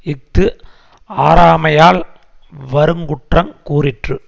இஃது ஆராமையால் வருங்குற்றங் கூறிற்று